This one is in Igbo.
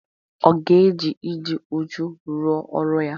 Ọ ga-eji ịdị uchu rụọ ọrụ ya?